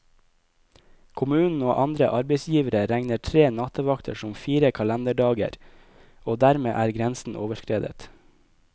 Kommunen og andre arbeidsgivere regner tre nattevakter som fire kalenderdager, og dermed er grensen overskredet.